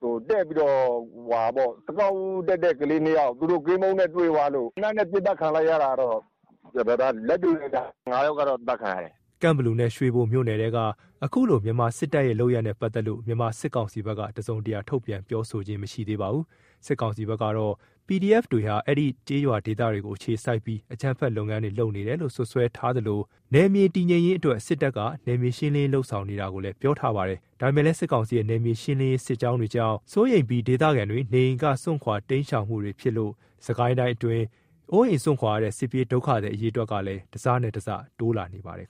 အကောက်တက်တဲ့(စကစ တပ်တွေ လာတဲ့ လမ်းကြောင်းကြည့်တဲ့သူ) ကလေး ၂ ယောက် သူတို့ ကင်းပုန်းနဲ့ တွေ့သွားလို့ သေနတ်နဲ့ ပစ်သတ်ခံလိုက်ရတာကတော့ ဒါလက်တွေ့ပဲဗျ။ ၅ ယောက်ကတော့ အသတ်ခံရတယ်။" ကန့်ဘလူနဲ့ ရွှေဘိုနယ်က အခုလို မြန်မာစစ်တပ်တွေလုပ်ရပ်နဲ့ ပတ်သက်လို့ မြန်မာစစ်ကောင်စီဖက်က တစုံတရာ ထုတ်ပြန်ပြောဆိုတာမရှိသေးပါဘူး။ စစ်ကောင်စီဖက်ကတော့ PDF တွေဟာ အဲဒီဒေသကျေးရွာတွေကို အခြေစိုက်ပြီး အကြမ်းဖက်လုပ်ငန်းတွေ လုပ်နေတယ်လို့ စွပ်စွဲထားသလို၊ နယ်မြေတည်ငြိမ်ရေးအတွက် စစ်တပ်က နယ်မြေရှင်းလင်းရေးဆောင်ရွက်နေတယ်ဆိုတာကိုလည်း ပြောထားပါတယ်။ ဒါပေမယ့်လည်း စစ်ကောင်စီရဲ့ နယ်မြေရှင်းလင်းရေးစစ်ကြောင်းတွေကို စိုးရိမ်ပြီး ဒေသခံတွေ နေအိမ်က စွန့်ခွာတိမ်းရှောင်မှုတွေကြောင့် စစ်ကိုင်းတိုင်းအတွင်း အိုးအိမ်စွန့်ခွာရတဲ့ စစ်ပြေးဒုက္ခသည်အရေအတွက်ကလည်း တစနဲ့တစ တိုးလာနေပါတယ်